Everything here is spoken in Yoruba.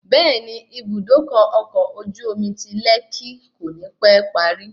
Bẹẹni, Ibùdókọ̀ ọkọ̀ ojú omi ti lẹ́kí kò ní pẹ́ parí